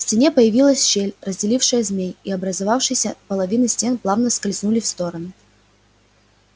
в стене появилась щель разделившая змей и образовавшиеся половины стен плавно скользнули в стороны